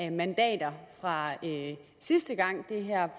af mandater fra sidste gang det her